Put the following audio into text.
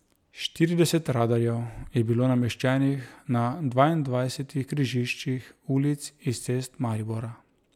Štirideset radarjev je bilo nameščenih na dvaindvajsetih križiščih ulic in cest Maribora.